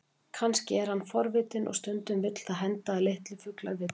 Kannski er hann forvitinn, og stundum vill það henda að litlir fuglar villist.